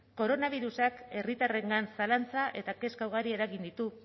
koronabirusak herritarrengan zalantza eta kezka ugari eragin ditu